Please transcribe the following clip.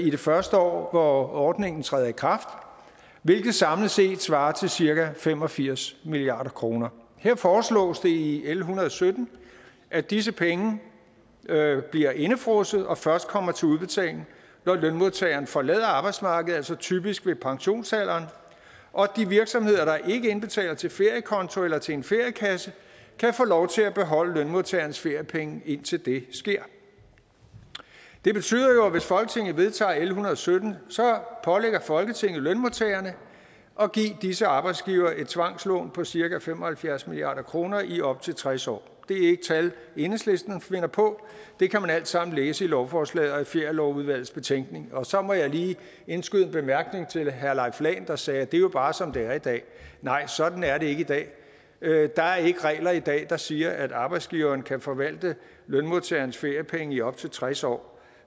i det første år hvor ordningen træder i kraft hvilket samlet set svarer til cirka fem og firs milliard kroner her foreslås det i l en hundrede og sytten at disse penge bliver indefrosset og først kommer til udbetaling når lønmodtageren forlader arbejdsmarkedet altså typisk ved pensionsalderen og de virksomheder der ikke indbetaler til feriekonto eller til en feriekasse kan få lov til at beholde lønmodtagerens feriepenge indtil det sker det betyder jo at hvis folketinget vedtager l en hundrede og sytten pålægger folketinget lønmodtagerne at give disse arbejdsgivere et tvangslån på cirka fem og halvfjerds milliard kroner i op til tres år det er ikke tal enhedslisten finder på det kan man alt sammen læse i lovforslaget og i ferielovudvalgets betænkning og så må jeg lige indskyde en bemærkning til herre leif lahn jensen der sagde at det jo bare er som det er i dag nej sådan er det ikke i dag der er ikke regler i dag der siger at arbejdsgiveren kan forvalte lønmodtagerens feriepenge i op til tres år